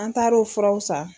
An taar'o furaw san.